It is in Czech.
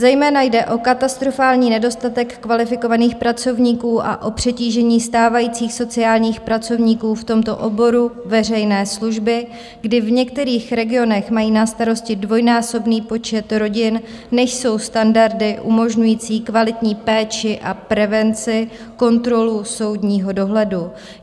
Zejména jde o katastrofální nedostatek kvalifikovaných pracovníků a o přetížení stávajících sociálních pracovníků v tomto oboru veřejné služby, kdy v některých regionech mají na starosti dvojnásobný počet rodin, než jsou standardy umožňující kvalitní péči a prevenci, kontrolu soudního dohledu.